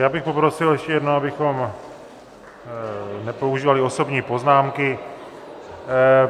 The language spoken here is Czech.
Já bych poprosil ještě jednou, abychom nepoužívali osobní poznámky.